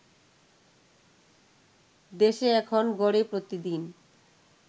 দেশে এখন গড়ে প্রতিদিন